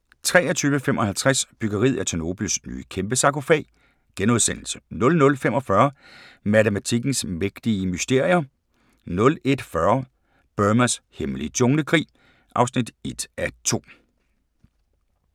23:55: Byggeriet af Tjernobyls nye kæmpesarkofag * 00:45: Matematikkens mægtige mysterier 01:40: Burmas hemmelige junglekrig (1:2)